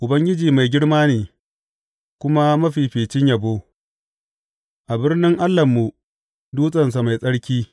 Ubangiji mai girma ne, kuma mafificin yabo, a birnin Allahnmu, dutsensa mai tsarki.